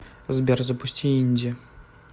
сбер запусти инди